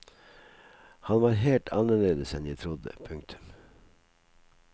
Han var helt annerledes enn jeg trodde. punktum